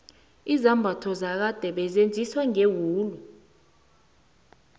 izambatho zakade bezenziwa ngewula